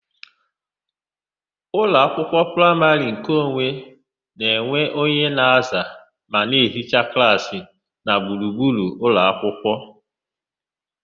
Ụlọakwụkwọ praịmarị nkeonwe na-enwe onye na-aza ma na ehichaa klaasị na gburugburu ụlọakwụkwọ.